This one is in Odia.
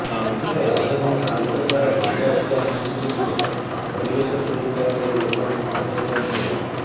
ଏଥର ରାଜଧାନୀ କୋଲକାତାର ଦୁର୍ଗାପୂଜା ସମିତିଗୁଡ଼ିକ ପରିବେଶ ସୁରକ୍ଷା ଉପରେ ଲୋକଙ୍କୁ ସଚେତନ କରିବେ